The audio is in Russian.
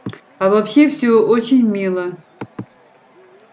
а вообще всё очень мило